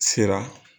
Sira